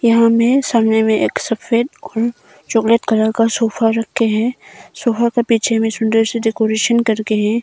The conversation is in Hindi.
यहां में सामने में एक सफेद और चॉकलेट कलर का सोफा रखे है सोफा के पीछे में सुंदर सी डेकोरेशन करके है।